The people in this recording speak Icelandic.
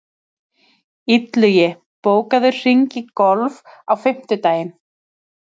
Illugi, bókaðu hring í golf á fimmtudaginn.